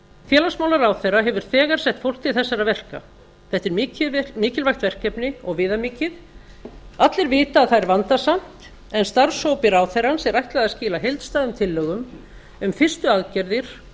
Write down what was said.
félagsmálaráðherra hefur þegar sett fólk til þessara verka þetta er mikilvægt verkefni og viðamikið allir vita að það er vandasamt en starfshópi ráðherrans er ætlað að skila heildstæðum tillögum um fyrstu aðgerðir